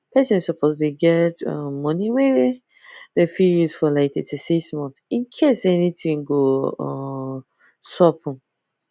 person suppose dey get um money wey them fit use for like 36 months incase anything go um sup um